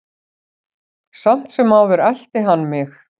Samt sem áður elti hann mig.